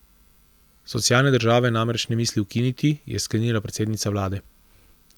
Socialne države namreč ne misli ukiniti, je sklenila predsednica vlade.